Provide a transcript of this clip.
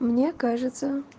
мне кажется